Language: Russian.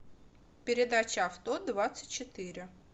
передача авто двадцать четыре